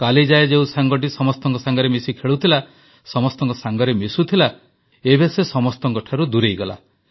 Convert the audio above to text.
କାଲି ଯାଏଁ ଯେଉଁ ସାଙ୍ଗଟି ସମସ୍ତଙ୍କ ସାଙ୍ଗରେ ମିଶି ଖେଳୁଥିଲା ସମସ୍ତଙ୍କ ସାଙ୍ଗରେ ମିଶୁଥିଲା ଏବେ ସେ ସମସ୍ତଙ୍କଠାରୁ ଦୂରେଇଗଲା